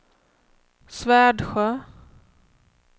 Svärdsjö